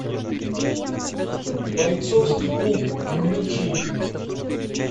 бойцовский клуб включи